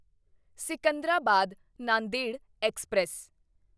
Secunderabad Nanded express